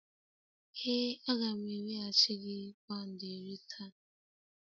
Ee a ga m eweghachi gị pound iri taa.